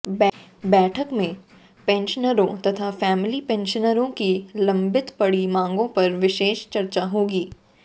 बैठक में पैंशनरों तथा फैमिली पैंशनरों की लंबित पड़ी मांगों पर विशेष चर्चा होगी